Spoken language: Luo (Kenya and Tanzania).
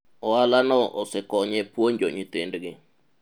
ohala no osekonye puonjo nyithindgi